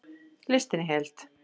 Listinn í heild